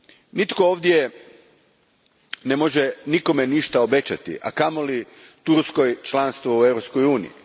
Nitko ovdje ne može nikome ništa obećati, a kamoli Turskoj članstvo u Europskoj uniji.